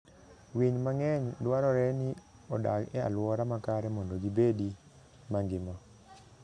Winy mang'eny dwarore ni odag e alwora makare mondo gibedi mangima.